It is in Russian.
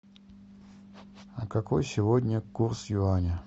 а какой сегодня курс юаня